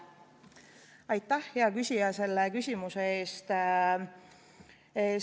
Aitäh, hea küsija, selle küsimuse eest!